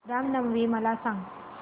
राम नवमी मला सांग